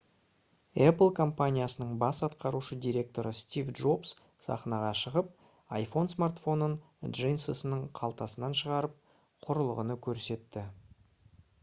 apple компаниясының бас атқарушы директоры стив джобс сахнаға шығып iphone смартфонын джинсының қалтасынан шығарып құрылғыны көрсетті